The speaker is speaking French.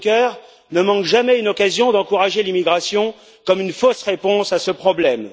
Juncker ne manque jamais une occasion d'encourager l'immigration comme une fausse réponse à ce problème.